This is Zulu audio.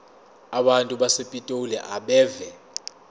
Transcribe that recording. abantu basepitoli abeve